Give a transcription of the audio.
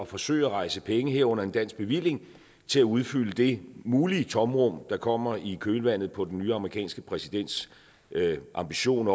forsøge at rejse penge herunder en dansk bevilling til at udfylde det mulige tomrum der kommer i kølvandet på den nye amerikanske præsidents ambition